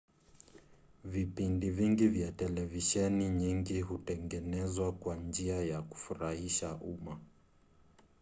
vipindi vingi vya televisheni nyingi hutengenezwa kwa njia ya kufurahisha umma